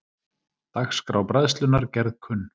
Dagskrá Bræðslunnar gerð kunn